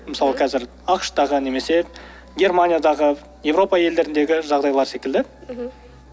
мысалы қазір ақш тағы немесе германиядағы еуропа елдеріндегі жағдайлар секілді мхм